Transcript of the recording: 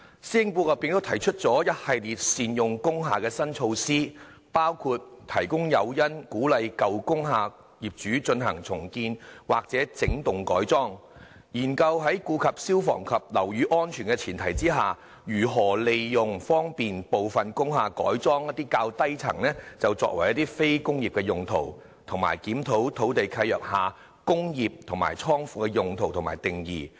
施政報告也提出一系列善用工廈的新措施，包括提供誘因，鼓勵舊工廈業主進行重建或整幢改裝；研究在顧及消防及樓宇安全的前提下，如何利用方便部分工廈改裝一些較低層作非工業用途；以及檢討土地契約下，"工業"和"倉庫"的用途和定義。